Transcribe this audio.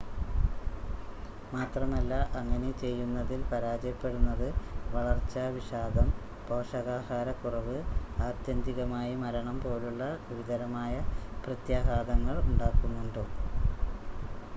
മാത്രമല്ല അങ്ങനെ ചെയ്യുന്നതിൽ പരാജയപ്പെടുന്നത് വളർച്ചാ വിഷാദം പോഷകാഹാരക്കുറവ് ആത്യന്തികമായി മരണം പോലുള്ള ഗുരുതരമായ പ്രത്യാഘാതങ്ങളുണ്ടാക്കുന്നുണ്ട്